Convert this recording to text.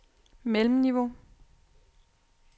mellemniveau